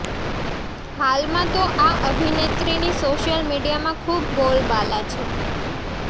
હાલમાં તો આ અભિનેત્રીની સોશિયલ મીડિયામાં ખુબ બોલબાલા છે